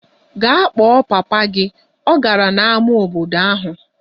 Gaa kpọọ papa gị! Ọ gara n'ámá obodo ahụ.